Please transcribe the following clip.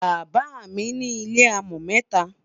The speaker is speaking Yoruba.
bàbá mí ní ilẹ amo meta